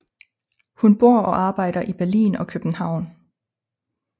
Hun bor og arbejder i Berlin og København